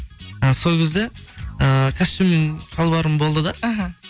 і сол кезде ыыы костюм шалбарым болды да іхі